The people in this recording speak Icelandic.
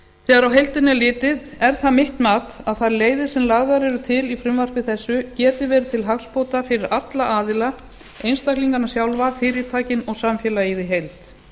þegar á heildina er litið er það mitt mat að það leiðir sem lagðar eru til í frumvarpi þessu geti verið til hagsbóta fyrir alla aðila einstaklingana sjálfa fyrirtækin og samfélagið í heild